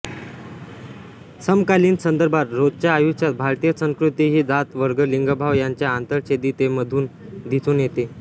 समकालीन संदर्भात रोजच्या आयुष्यात भारतीय संस्कृती ही जात वर्ग लिंगभाव यांच्या आंतरछेदितेमधून दिसून येते